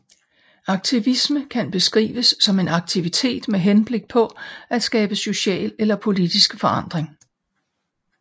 Aktivisme kan beskrives som en aktivitet med henblik på at skabe social eller politisk forandring